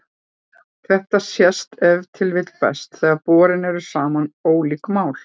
Þetta sést ef til vill best þegar borin eru saman ólík mál.